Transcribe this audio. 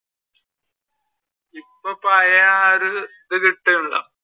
ഇപ്പൊ പഴയെ ആ ഒരു ഇത് കിട്ടുന്നില്ല.